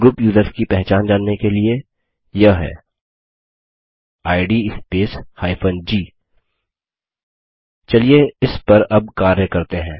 group users की पहचान जानने के लिए यह है इद स्पेस g चलिए इस पर अब कार्य करते हैं